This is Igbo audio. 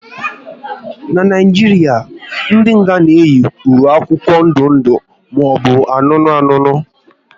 N'Naijiria, ndị nga na eyi ùwé akwụkwọ ndụ ndụ maọbụ anụnụ anụnụ